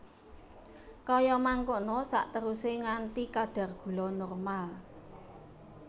Kaya mangkono saterusé nganti kadar gula normal